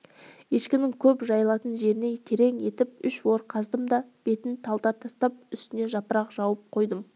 ешкінің көп жайылатын жеріне терең етіп үш ор қаздым да бетіне талдар тастап үстіне жапырақ жауып қойдым